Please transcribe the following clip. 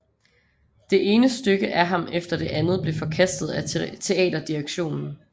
Det ene stykke af ham efter det andet blev forkastet af theaterdirektionen